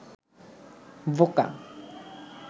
বোকা